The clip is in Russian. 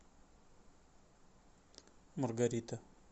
маргарита